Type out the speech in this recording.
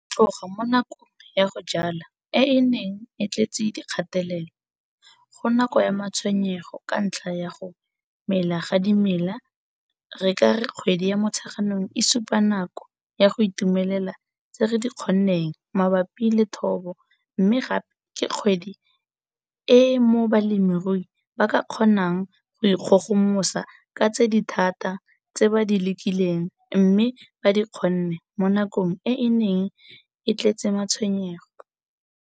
Go tloga mo nakong ya go jwala e e neng e tletse dikgatelelo, go nako ya matshwenyego ka ntlha ya go mela ga dimela re ka re kgwedi ya Motsheganong e supa nako ya go itumelela tse re di kgonneng mabapi le thobo mme gape ke kgwedi e mo balemirui ba ka kgonang go ikgogomosa ka tse di thata tse ba di lekileng mme ba di kgonne mo nakong e e neng e tletse matshwenyego.